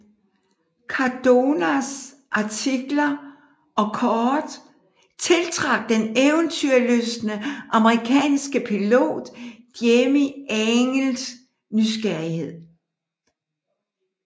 Cardonas artikler og kort tiltrak den eventyrlystne amerikanske pilot Jimmie Angels nysgerrighed